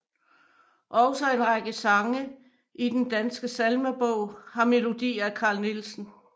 Også en række sange i Den Danske Salmebog har melodi af Carl Nielsen